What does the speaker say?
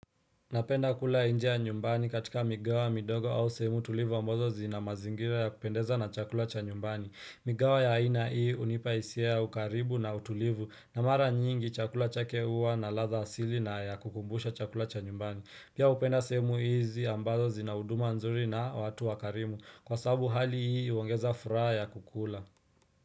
Napenda kula nje ya nyumbani katika migao midogo au sehemu tulivu ambazo zina mazingira ya kupendeza na chakula cha nyumbani. Migao ya aina hii hunipa hisia ya ukaribu na utulivu na mara nyingi chakula chake huwa na ladha asili na ya kukumbusha chakula cha nyumbani. Pia hupenda sehemu hizi ambazo zina huduma nzuri na watu wakarimu kwa sababu hali hii huongeza furaha ya kukula.